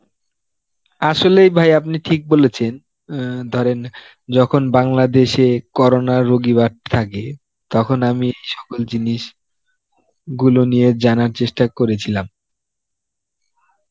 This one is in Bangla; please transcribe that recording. আসলেই ভাই আপনি ঠিক বলেছেন, অ্যাঁ ধরেন যখন বাংলাদেশে corona রোগী বাড়তে থাকে, তখন আমি সকল জিনিসগুলো নিয়ে জানার চেষ্টা করেছিলাম.